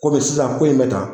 Komi sisan ko in bɛ tan.